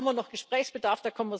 Da haben wir noch Gesprächsbedarf.